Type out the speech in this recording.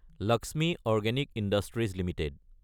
Lakshmi organic industries Ltd